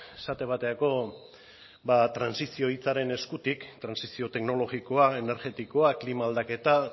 esate baterako ba trantsizioa hitzaren eskutik trantsizio teknologikoa energetikoa klima aldaketa